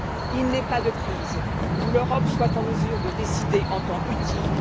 Il n'est pas de crise où l'Europe soit en mesure de décider en temps utile